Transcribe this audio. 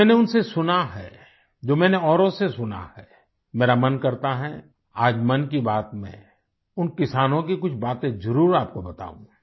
जो मैंने उन से सुना है जो मैंने औरों से सुना है मेरा मन करता है आज मन की बात में उन किसानों की कुछ बातें जरूर आप को बताऊँ